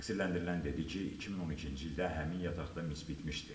Təqsirləndirilən dedi ki, 2012-ci ildə həmin yataqda mis bitmişdi.